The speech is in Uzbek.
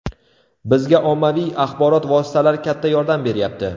Bizga ommaviy axborot vositalari katta yordam beryapti.